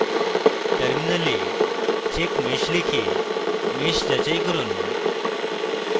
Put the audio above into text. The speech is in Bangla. টার্মিনালে checkmesh লিখে মেশ যাচাই করুন